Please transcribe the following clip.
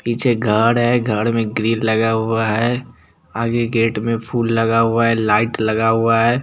पीछे गार्ड है गार्ड में एक ग्री लगा हुआ है आगे गेट में फुल लगा हुआ है लाइट लगा हुआ है।